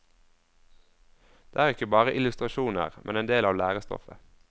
De er ikke bare illustrasjoner, men en del av lærestoffet.